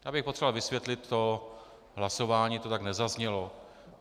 Já bych potřeboval vysvětlit to hlasování, to tak nezaznělo.